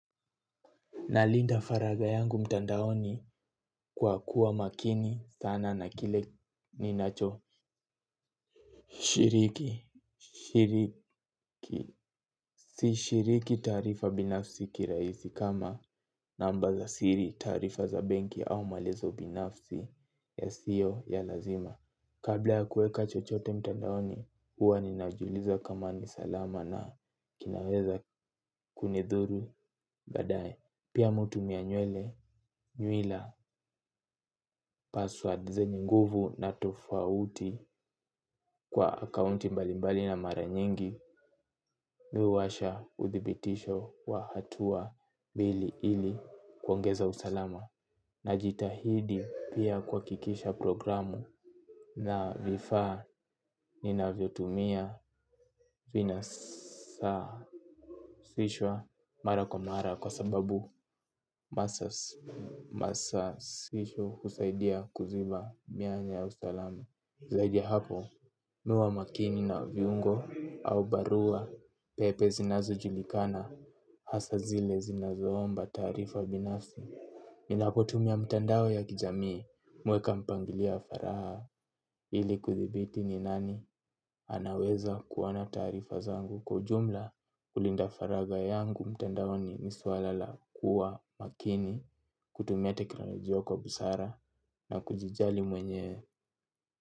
Nalinda faragha yangu mtandaoni kwa kuwa makini sana na kile ninacho Shiriki. Shiriki. Si shiriki taarifa binafsi kiraisi kama namba za siri taarifa za benki au maelezo binafsi yasio ya lazima. Kabla ya kueka chochote mtandaoni huwa ninajuliza kama ni salama na kinaweza kunidhuru baadae pia mi hutumia nywele, nywila, password zenye nguvu na tofauti kwa akaunti mbalimbali na mara nyingi. Mi huwasha uthibitisho wa hatua bili ili kuongeza usalama. Najitahidi pia kuhakikisha programu na vifaa ninavyo tumia vina sasishwa mara kwa mara kwa sababu masasisho husaidia kuziba mianya ya utalamu. Zaidi ya hapo, mi huwa makini na viungo au barua pepe zinazo julikana. Hasa zile zinazoomba taarifa binafsi ninapotumia mtandao ya kijamii. Mi huweka mpangilio ya faragha ili kudhibiti ni nani anaweza kuona taarifa zangu kwa ujumla. Kulinda faragha yangu mtandaoni ni swala la kuwa makini kutumia teknolojia kwa busara na kujijali mwenyewe.